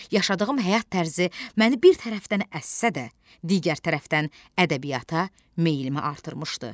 Yaşadığım həyat tərzi məni bir tərəfdən əssə də, digər tərəfdən ədəbiyyata meylimi artırmışdı.